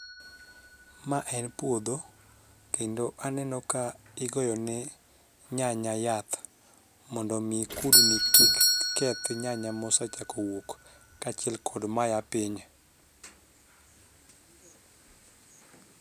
Ma en puodho kendo aneno ka igoyo ne nyanya yath mondo mi kudni kik keth nyanya mosechako wuok kaachiel kod mayaa piny